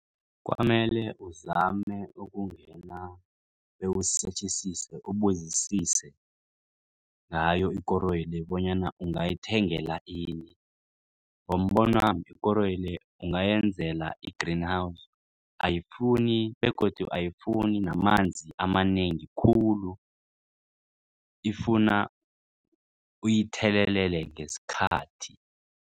Kwamele uzame ukungena bewusetjhisise ubuzisise ngayo ikoroyi le bonyana ungayithengela ini. Ngombonwami ikoroyi le ungayenzela i-Greenhouse begodu ayifuni namanzi amanengi khulu ifuna uyithelelele ngesikhathi.